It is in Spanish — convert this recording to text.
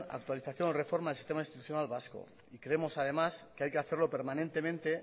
actualización o reforma del sistema institucional vasco y creemos además que hay que hacerlo permanentemente